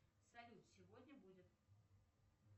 салют сегодня будет